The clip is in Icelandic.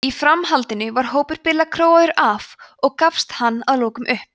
í framhaldinu var hópur billa króaður af og gafst hann að lokum upp